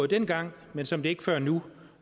dengang men som det ikke før nu